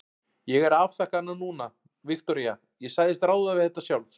Ég er að afþakka hana núna, Viktoría, ég sagðist ráða við þetta sjálf.